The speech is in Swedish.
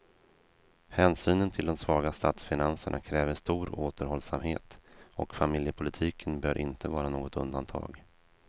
Hänsynen till de svaga statsfinanserna kräver stor återhållsamhet, och familjepolitiken bör inte vara något undantag.